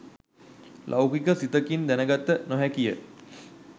ලෞකික සිතකින් දැනගත නොහැකිය.